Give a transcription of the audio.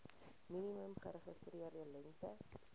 minimum geregistreerde lengte